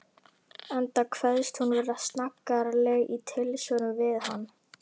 Enda kveðst hún vera snaggaraleg í tilsvörum við hann.